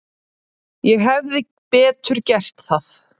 Ég hefði betur gert það.